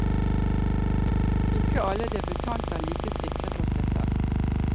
Ikke alle debutanter er like sikre på seg selv.